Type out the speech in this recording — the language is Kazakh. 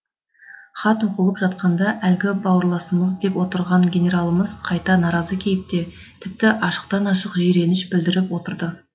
хат оқылып жатқанда әлгі бауырласымыз деп отырған генералымыз қайта наразы кейіпте тіпті ашықтан ашық жиреніш білдіріп отырды